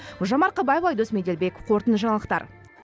гүлжан марқабаева айдос меделбеков қорытынды жаңалықтар